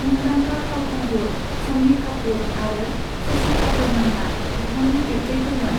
मुंदांखा फावखुंगुर शम्मी कापुर आरो शशि कापुरमोनहा बिथांनि बिब्थैफोरमोन।